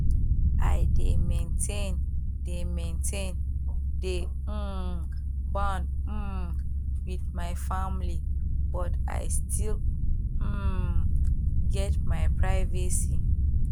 i dey maintain di maintain di um bond um wit my family but i still um get my privacy